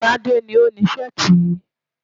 Tádé ni ó ni Ṣẹ́ẹ̀tì yìí.